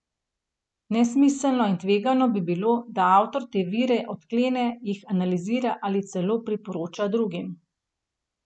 Nesmiselno in tvegano bi bilo, da avtor te vire odklene, jih analizira ali celo priporoča drugim.